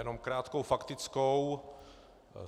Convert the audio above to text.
Jenom krátkou faktickou.